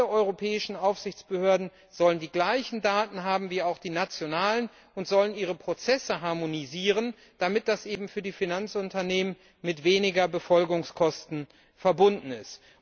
Alle europäischen Aufsichtsbehörden sollen die gleichen Daten haben wie auch die nationalen und sollen ihre Prozesse harmonisieren, damit das eben für die Finanzunternehmen mit weniger Befolgungskosten verbunden ist.